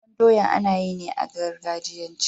sabon doya anayi ne a gargajiyance